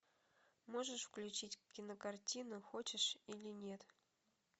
можешь включить кинокартину хочешь или нет